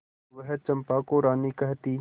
वह चंपा को रानी कहती